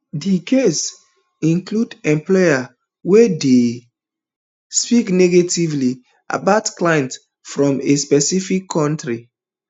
di case include employee wey dey speak negatively about clients from a specific kontri